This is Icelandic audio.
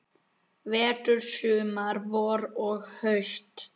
Vetur, sumar, vor og haust.